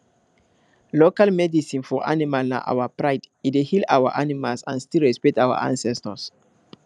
local medicine for animal na our pridee dey heal our animals and still respect our ancestors